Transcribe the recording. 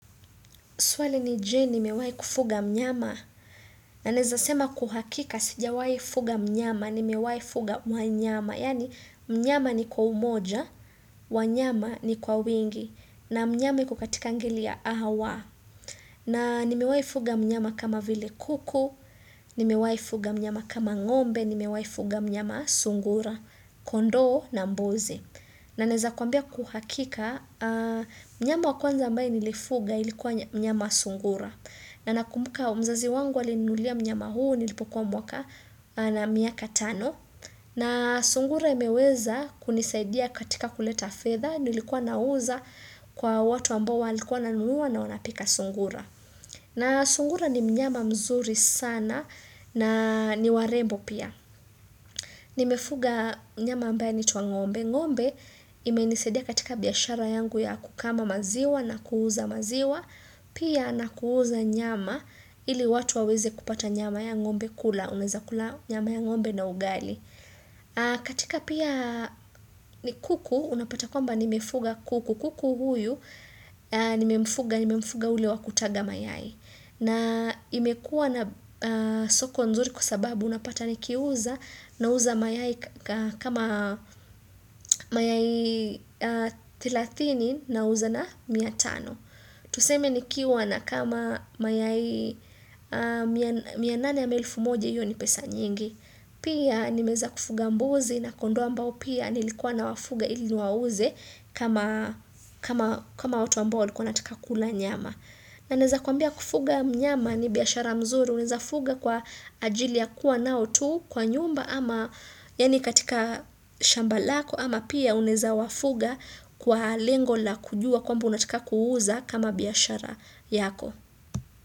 Swali ni Je, nimewai kufuga mnyama. Na naeza sema kuhakika, sijawai fuga mnyama, nimewai fuga mnyama. Yani, mnyama ni kwa umoja, wanyama ni kwa wingi, na mnyama ni kukatika ngeli ya awa. Na nimewai fuga mnyama kama vile kuku, nimewai fuga mnyama kama ngombe, nimewai fuga mnyama sungura, kondo na mbozi. Na naeza kuambia kuhakika, mnyama wakuanza ambaye nilifuga ilikuwa mnyama sungura. Na nakumuka mzazi wangu alininunulia mnyama huu, nilipokuwa mwaka na miaka tano. Na sungura imeweza kunisaidia katika kuleta fedha, nilikuwa nauza kwa watu ambao walikuwa na nunua na wanapika sungura. Na sungura ni mnyama mzuri sana na niwarembo pia. Nimefuga mnyama ambaye anaitwa ngombe, ngombe imenisadia katika biashara yangu ya kukama maziwa na kuuza maziwa, pia na kuuza nyama ili watu waweze kupata nyama ya ngombe kula, uneza kula nyama ya ngombe na ugali. Katika pia ni kuku, unapata kwamba nimefuga kuku kuku huyu, ni mefuga ulewa kutaga mayai na imekua na soko nzuri kwa sababu unapata ni kiuza na uza mayai kama mayai 30 na uza na 100 Tuseme ni kiuwa na kama mayai 108,000 yu ni pesa nyingi Pia nimeza kufuga mbuzi na kondo ambao pia nilikuwa na wafuga ili niwauze kama watu ambao walikuwa wanataka kula nyama. Na naeza kuambia kufuga nyama ni biashara mzuri, uneza fuga kwa ajili ya kuwa nao tu kwa nyumba ama yani katika shamba lako ama pia uneza wafuga kwa lengo la kujua kwamba unataka kuuza kama biyashara yako.